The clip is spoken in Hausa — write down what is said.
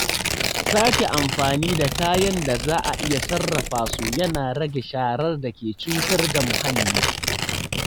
Sake amfani da kayan da za a iya sarrafa su yana rage sharar da ke cutar da muhalli.